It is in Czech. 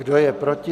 Kdo je proti?